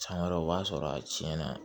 San wɛrɛ o b'a sɔrɔ a tiɲɛna